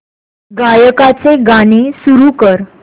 गायकाचे गाणे सुरू कर